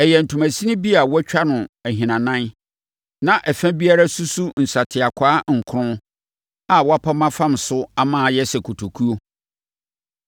Ɛyɛ ntomasini bi a wɔatwa no ahinanan na ɛfa biara susu nsateakwaa nkron a wɔapam afam so ama ayɛ sɛ kotokuo